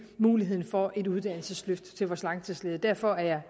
muligheden for et uddannelsesløft til vores langtidsledige derfor er jeg